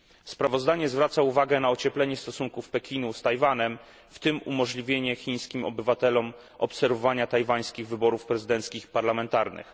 Sprawozdanie zwraca uwagę na ocieplenie stosunków Pekinu z Tajwanem, w tym umożliwienie chińskim obywatelom obserwowania tajwańskich wyborów prezydenckich i parlamentarnych.